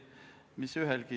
Aitäh!